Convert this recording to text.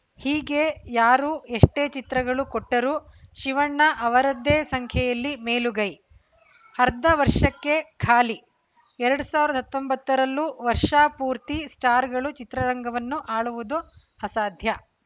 ಹೀಗೆ ಯಾರೂ ಎಷ್ಟೇ ಚಿತ್ರಗಳು ಕೂಟ್ಟರೂ ಶಿವಣ್ಣ ಅವರದ್ದೇ ಸಂಖ್ಯೆಯಲ್ಲಿ ಮೇಲುಗೈ ಅರ್ಧ ವರ್ಷಕ್ಕೆ ಖಾಲಿ ಎರಡ್ ಸಾವಿರದ ಹತ್ತೊಂಬತ್ತರಲ್ಲೂ ವರ್ಷಾ ಪೂರ್ತಿ ಸ್ಟಾರ್‌ಗಳು ಚಿತ್ರರಂಗವನ್ನು ಆಳುವುದು ಅಸಾಧ್ಯ